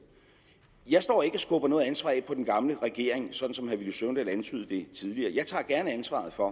jeg står ikke og skubber noget ansvar af på den gamle regering sådan som herre villy søvndal antydede det tidligere jeg tager gerne ansvaret for